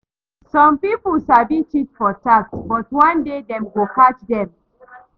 Some people sabi cheat for tax, but one day dem go catch them.